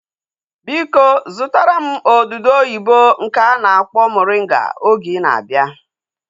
Biko zụtara m odudu oyibo nke a na-akpọ moringa oge ị na-abịa